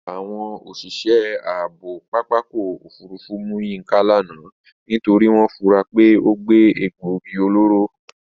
Àwọn òṣìṣẹ́ ààbò pápákọ̀ òfurufú mú Yínká lánàá nítorí wọ́n fura pé ó gbé egbòogi olóró